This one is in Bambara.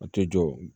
A tɛ jɔ